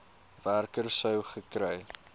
werker sou gekry